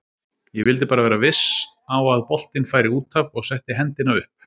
Ég vildi bara vera viss á að boltinn færi útaf og setti hendina upp.